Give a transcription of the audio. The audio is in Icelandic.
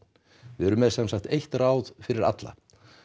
við erum með sem sagt eitt ráð fyrir alla